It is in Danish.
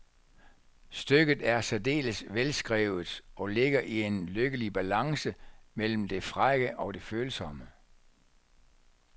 Stykket er særdeles velskrevet og ligger i en lykkelig balance mellem det frække og det følsomme.